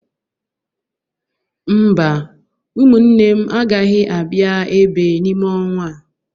Mba, ụmụnne m agaghị abịa ebe n'ime ọnwa a.